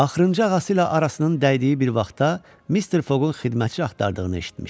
Axırıncı ağası ilə arasının dəydiyi bir vaxtda Mister Foqqun xidmətçi axtardığını eşitmişdi.